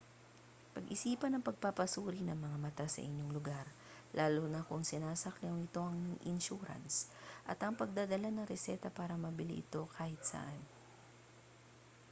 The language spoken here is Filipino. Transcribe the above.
pag-isipan ang pagpapasuri ng mata sa inyong lugar lalo na kung sinasaklaw ito ng insurance at ang pagdadala ng reseta para mabili ito kahit saan